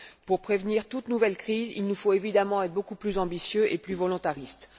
Pour prévenir toute nouvelle crise, il nous faut évidemment être beaucoup plus ambitieux et plus volontaristes.